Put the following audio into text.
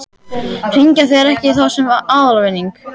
Hringja þeir ekki í þá sem fá aðalvinning?